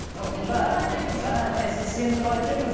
жаңа міне сіз сенім туралы айтып кеттіңіз